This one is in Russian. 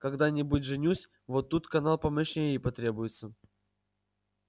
когда-нибудь женюсь вот тут канал помощнее и потребуется